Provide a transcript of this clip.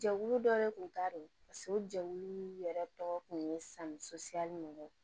Jɛkulu dɔ de tun ta reson jɛkulu yɛrɛ tɔgɔ kun ye san suyali min kɛ